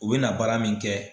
U bɛna baara min kɛ